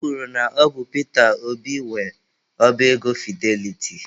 E kwuru na ọ bụ Pita Obi nwe oba ego Fideliti.